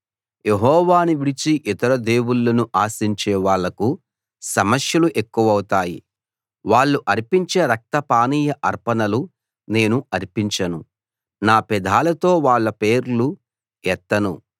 యెహోవాను విడిచి ఇతర దేవుళ్ళను ఆశించే వాళ్లకు సమస్యలు ఎక్కువౌతాయి వాళ్ళు అర్పించే రక్తపానీయ అర్పణలు నేను అర్పించను నా పెదాలతో వాళ్ళ పేర్లు ఎత్తను